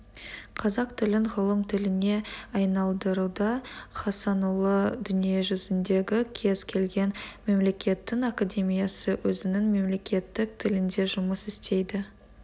қазақ тілін ғылым тіліне айналдыруда хасанұлы дүниежүзіндегі кез келген мемлекеттің академиясы өзінің мемлекеттік тілінде жұмыс істейді